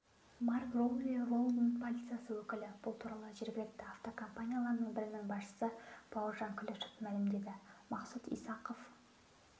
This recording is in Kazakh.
марк роули лондон полициясының өкілі бұл туралы жергілікті автокомпаниялардың бірінің басшысы бауыржан күлішев мәлімдеді мақсұт исахов